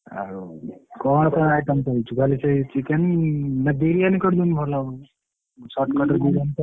ଆଉ କଣ କଣ item କରୁଛୁ ଖାଲି ସେଇ chicken biryani ନା ବିରିୟାନି କର ଦଉନୁ ଭଲ ହବ shortcut ରେ ବିରିୟାନି କରିଦେ।